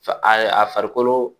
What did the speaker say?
farikolo